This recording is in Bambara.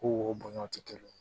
Ko woyo tɛ kelen ye